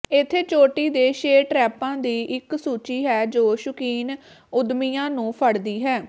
ਇੱਥੇ ਚੋਟੀ ਦੇ ਛੇ ਟ੍ਰੈਪਾਂ ਦੀ ਇੱਕ ਸੂਚੀ ਹੈ ਜੋ ਸ਼ੁਕੀਨ ਉੱਦਮੀਆਂ ਨੂੰ ਫੜਦੀ ਹੈ